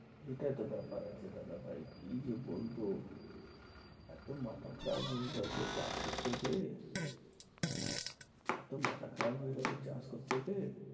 এটাই তো ব্যাপার আছে দাদাভাই কি যে বলবো এতো মাথা খারাপ হয়ে গেছে চাষ করতে গিয়ে এতো মাথা খারাপ হয়ে গেছে চাষ করতে গিয়ে